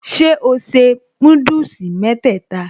Ṣé o se núdùsì mẹ́tẹ̀ẹ̀ta?